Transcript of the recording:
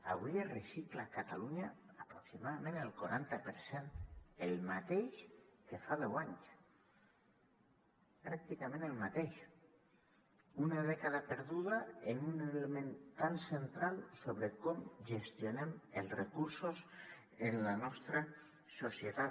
avui es recicla a catalunya aproximadament el quaranta per cent el mateix que fa deu anys pràcticament el mateix una dècada perduda en un element tan central sobre com gestionem els recursos en la nostra societat